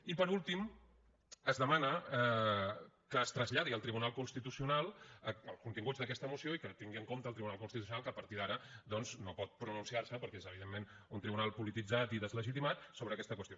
i per últim es demana que es traslladi al tribunal constitucional els continguts d’aquesta moció i que tingui en compte el tribunal constitucional que a partir d’ara doncs no pot pronunciar se perquè és evidentment un tribunal polititzat i deslegitimat sobre aquesta qüestió